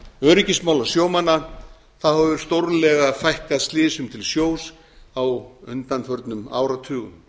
öryggismála sjómanna hefur stórlega fækkað slysum til sjós á undanförnum áratugum